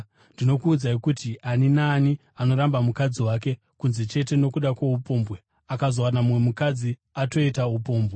Ndinokuudzai kuti ani naani anoramba mukadzi wake, kunze chete nokuda kwoupombwe, akazowana mumwe mukadzi, atoita upombwe.”